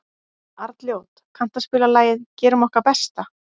Arnljót, kanntu að spila lagið „Gerum okkar besta“?